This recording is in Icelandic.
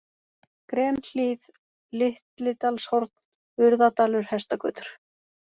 Grenhlíð, Litlidalshorn, Urðadalur, Hestagötur